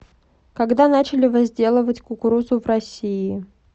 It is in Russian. когда начали возделывать кукурузу в россии